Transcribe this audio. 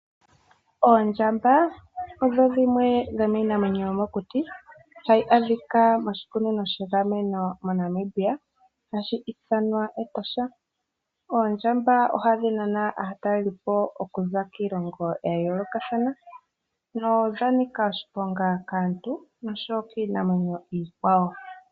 Oondjamba odho dhimwe dhomiinamwenyo yomokuti hayi adhika moshikunino sha gamenwa moNamibia, hashi ithanwa Etosha. Oondjamba ohadhi nana aatalelipo okuza kiilongo ya yoolokathana nodha nika oshiponga kaantu noshowo kiinamwenyo iikwawo.